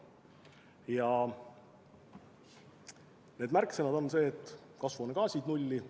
Ja eesmärk on jõuda kasvuhoonegaaside puhul nulli.